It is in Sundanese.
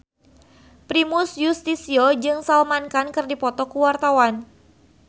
Primus Yustisio jeung Salman Khan keur dipoto ku wartawan